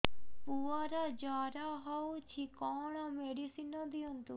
ପୁଅର ଜର ହଉଛି କଣ ମେଡିସିନ ଦିଅନ୍ତୁ